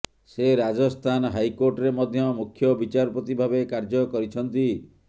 ସେ ରାଜସ୍ଥାନ ହାଇକୋର୍ଟରେ ମଧ୍ୟ ମୁଖ୍ୟ ବିଚାରପତି ଭାବେ କାର୍ଯ୍ୟ କରିଛନ୍ତି